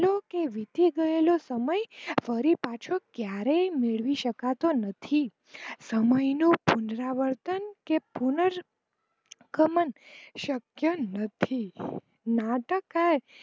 સમય કે વિતી ગયેલો સમય ફરી પાછો ક્યારેય મેળવી શકતો નથી, સમય નું પુનરાવર્તન કે પુનર્ગમન શક્ય નથી ના ટકાય